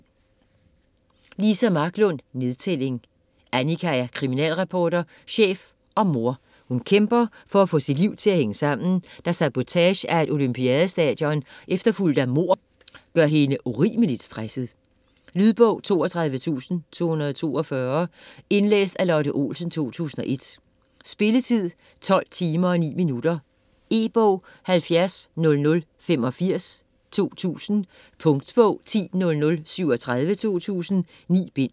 Marklund, Liza: Nedtælling Annika er kriminalreporter, chef og mor. Hun kæmper for at få sit liv til at hænge sammen, da sabotage af et olympiadestadion efterfulgt af mord gør hende urimeligt stresset. Lydbog 32242 Indlæst af Lotte Olsen, 2001. Spilletid: 12 timer, 9 minutter. E-bog 700085 2000. Punktbog 100037 2000. 9 bind.